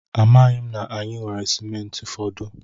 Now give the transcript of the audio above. Amaghị m na anyị nwere simenti fọdụ.